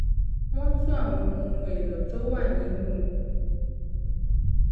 wón tún àwọn ohun èlò tó wà nínú